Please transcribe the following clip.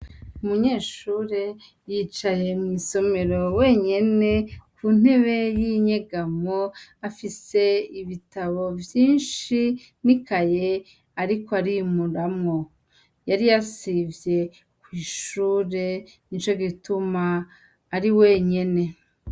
umunyeshure yicaye mwisomero wenyene ku ntebe y'inyegamo afise ibitabo vyinshi n'ikaye ariko arimuramwo yari yasivye kwishure nico gituma ari wenyene